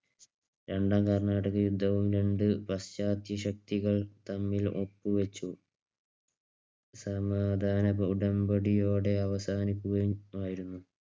രണ്ടാം കർണാട്ടിക് യുദ്ധവും രണ്ടുപശ്ചാത്യ ശക്തികൾ തമ്മിൽ ഒപ്പുവച്ചു. സമാധാന ഉടമ്പടിയോടെ അവസാനിക്കുകയുമായിരുന്നു.